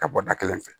Ka bɔ da kelen fɛ